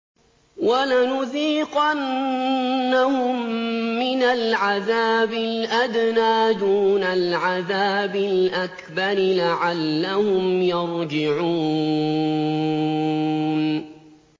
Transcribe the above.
وَلَنُذِيقَنَّهُم مِّنَ الْعَذَابِ الْأَدْنَىٰ دُونَ الْعَذَابِ الْأَكْبَرِ لَعَلَّهُمْ يَرْجِعُونَ